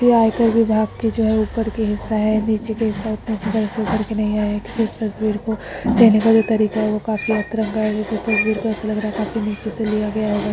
यह आयकर विभाग के जो है ऊपर का हिस्सा है नीचे का हिस्सा उतना अच्छी तरह से उभर के नहीं आया | इस तस्वीर को लेने का जो तरीका है वो काफी अतरंगा है ये तस्वीर बिलकुल ऐसा लग रहा है काफी नीचे से लिया गया होगा।